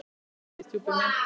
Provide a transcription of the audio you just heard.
Hvíl í friði, stjúpi minn.